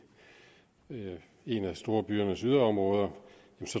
i et af storbyernes yderområder